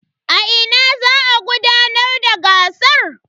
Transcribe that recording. A ina za a gudanar da gasar?